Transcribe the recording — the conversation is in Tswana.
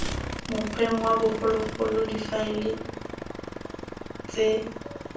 mokgweng wa bogologolo difaele ts